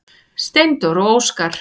Steindór og Óskar.